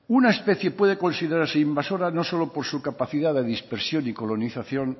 una especie puede considerarse invasora no solo por su capacidad de dispersión y colonización